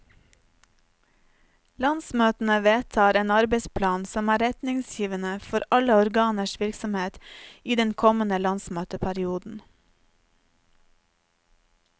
Landsmøtene vedtar en arbeidsplan som er rettningsgivende for alle organers virksomhet i den kommende landsmøteperioden.